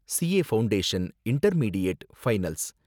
CA foundation, intermediate, finals